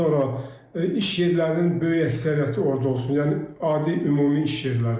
Daha sonra iş yerlərinin böyük əksəriyyəti orda olsun, yəni adi ümumi iş yerləri.